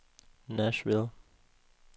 Nashville